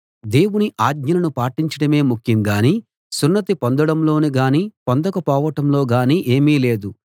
దేవుని ఆజ్ఞలను పాటించడమే ముఖ్యం గానీ సున్నతి పొందడంలో గానీ పొందక పోవటంలో గానీ ఏమీ లేదు